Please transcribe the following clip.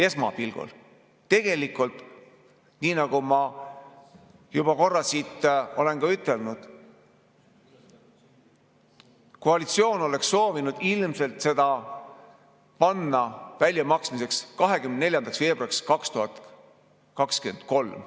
Esmapilgul, tegelikult, nii nagu ma juba korra siit olen ka ütelnud: koalitsioon oleks soovinud ilmselt panna selle väljamaksmise 24. veebruariks 2023.